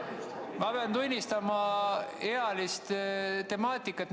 Ma pean tunnistama ealist temaatikat.